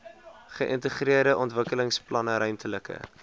geïntegreerde ontwikkelingsplanne ruimtelike